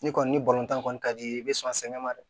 Ni kɔni ni kɔni ka di i be sɔn sɛnɛ ma dɛ